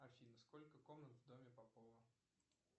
афина сколько комнат в доме попова